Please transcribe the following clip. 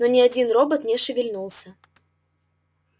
но ни один робот не шевельнулся